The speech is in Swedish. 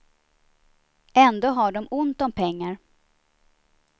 Ändå har de ont om pengar.